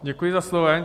Děkuji za slovo.